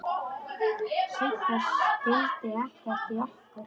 Sigga skildi ekkert í okkur.